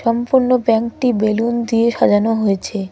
সম্পূর্ণ ব্যাংকটি বেলুন দিয়ে সাজানো হয়েছে।